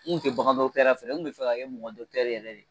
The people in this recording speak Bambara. N kun tɛ bagan fɛ, n kun bɛ fɛ ka kɛ mɔgɔ yɛrɛ de ye.